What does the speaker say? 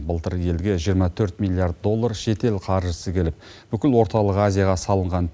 былтыр елге жиырма төрт миллиард доллар шетел қаржысы келіп бүкіл орталық азияға салынған